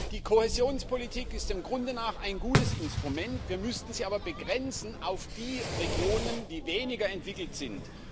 Die Kohäsionspolitik ist dem Grunde nach ein gutes Instrument, wir müssten sie aber begrenzen auf die Regionen, die weniger entwickelt sind.